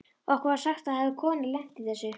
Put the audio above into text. Okkur var sagt að það hefði kona lent í þessu.